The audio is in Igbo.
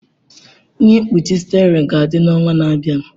Ihe mkpuchi steering ga-adị n'ọnwa na-abịa.